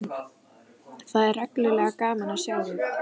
Það er reglulega gaman að sjá þig!